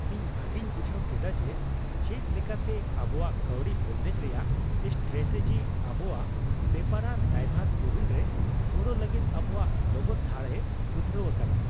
ᱤᱧ ᱵᱷᱟᱜᱤᱧ ᱵᱩᱡᱷᱟᱹᱣ ᱠᱮᱫᱟ ᱡᱮ ᱪᱮᱫ ᱞᱮᱠᱟᱛᱮ ᱟᱵᱚᱣᱟᱜ ᱠᱟᱹᱣᱰᱤ ᱵᱚᱱᱫᱮᱡ ᱨᱮᱭᱟᱜ ᱥᱴᱨᱟᱴᱮᱡᱤ ᱟᱵᱚᱣᱟᱜ ᱵᱮᱯᱟᱨᱟᱱ ᱫᱟᱭᱵᱷᱟᱨ ᱯᱩᱨᱩᱱ ᱨᱮ ᱜᱚᱲᱚ ᱞᱟᱹᱜᱤᱫ ᱟᱵᱚᱣᱟᱜ ᱞᱚᱜᱚᱫ ᱫᱷᱟᱲᱼᱮ ᱥᱩᱫᱷᱨᱟᱹᱣ ᱟᱠᱟᱫᱟ ᱾